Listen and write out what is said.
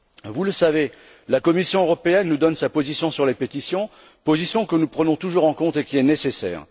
Vous le savez, la Commission nous donne sa position sur les pétitions, position que nous prenons toujours en compte et qui est nécessaire.